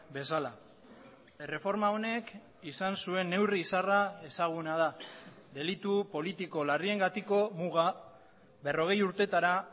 bezala erreforma honek izan zuen neurri izarra ezaguna da delitu politiko larriengatiko muga berrogei urtetara